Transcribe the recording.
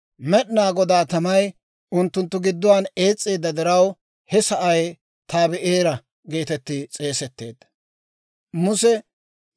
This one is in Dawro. Med'inaa Godaa tamay unttunttu gidduwaan ees's'eedda diraw, he sa'ay Tabi'eera geetetti s'eesetteedda.